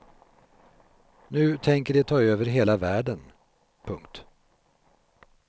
Nu tänker de ta över hela världen. punkt